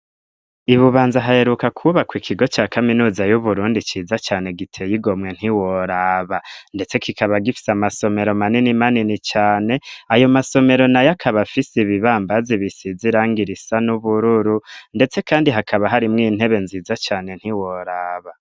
I Bubanza haheruka kubaka ikigo cya kaminuza y'uburundi ciza cyane giteye igomwe ntiworaba ndetse kikaba gifise amasomero manini manini cyane ayo masomero na yakaba afise ibibambazi ibisize irangirisa n'ubururu ndetse kandi hakaba hari mw intebe nziza cyane ntiworaba.